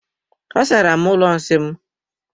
Asara m ụlọ nsị m.